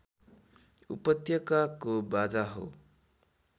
उपत्यकाको बाजा हो